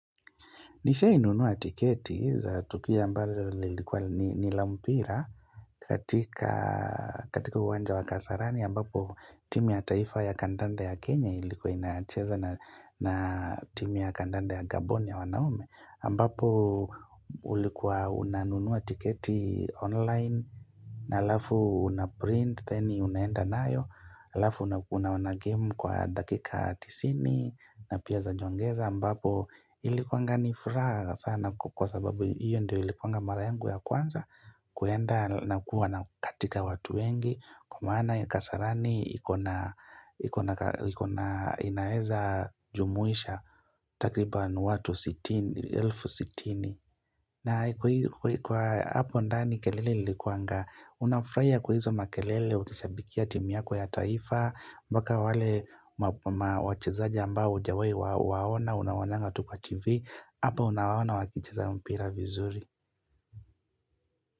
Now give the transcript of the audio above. Nishai nunua tiketi za tukia mbalo lilikuwa nila mpira katika uwanja wa kasarani ambapo timu ya taifa ya kandanda ya Kenya ilikuwa inacheza na timu ya kandanda ya Gabon ya wanaume, ambapo ulikuwa unanunua tiketi online na alafu unaprint then unaenda nayo alafu unaona game kwa dakika tisini na pia zanyongeza ambapo ilikuanga ni furaha sana kwa sababu hiyo ndio ilikuanga mara yangu ya kwanza kuenda na kuwa na katika watu wengi Kwa maana kasarani iko na iko na inaeza jumuisha takriban watu 60,000 na kwa hapo ndani kelele ilikuanga unafurahia kwa hizo makelele wakishabikia timu yako ya taifa mpaka wale wachezaji ambao hujawai kuwaona Unawaonanga tu kwa tv Hapo unawaona wakicheza mpira vizuri.